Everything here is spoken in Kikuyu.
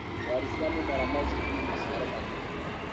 ndwari cia mĩmera no citũme maciaro manyihe